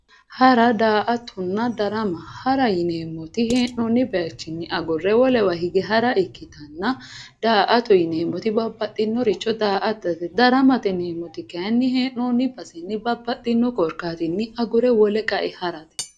hara daa"atonna darama hara yineemoti he'noonni bayiichinni agurre wolewa hige hara ikkittanna daa'ato yineemoti babbaxinoricho daa"atate daramate yineemoti kayiini hee'noonni basenni babbaxinno korkaatinni agurre wole qae harate